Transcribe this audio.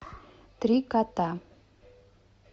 три кота